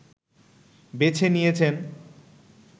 বেছে নিয়েছেন